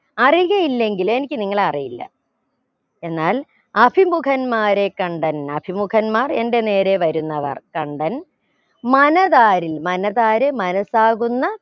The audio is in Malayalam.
അറിയുകയില്ലെങ്കിൽ എനിക്ക് നിങ്ങളെ അറിയില്ല എന്നാൽ അഭിമുഖന്മാരെ കണ്ടെൻ അഭിമുഖന്മാർ എന്റെ നേരെ വരുന്നവർ കണ്ടെൻ മനതാരിൽ മനതാര് മനസാകുന്ന